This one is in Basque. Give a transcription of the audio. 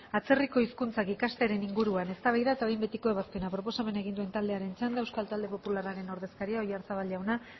atzerriko hizkuntzak ikastearen inguruan eztabaida eta behin betiko ebazpena proposamena egin du taldearen txanda euskal taldearen popularraren ordezkaria oyarzabal jauna